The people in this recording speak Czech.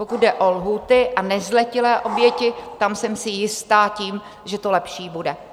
Pokud jde o lhůty a nezletilé oběti, tam jsem si jistá tím, že to lepší bude.